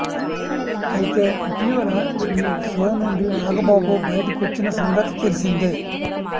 అయితే ఇటీవల ఈ షో నుండి నాగబాబు బయటకొచ్చిన సంగతి తెలిసిందే